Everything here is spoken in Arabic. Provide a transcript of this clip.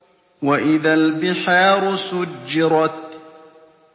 وَإِذَا الْبِحَارُ سُجِّرَتْ